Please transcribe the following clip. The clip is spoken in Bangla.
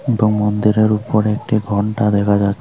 এবং মন্দিরের উপরে একটি ঘন্টা দেখা যাচ্ছে।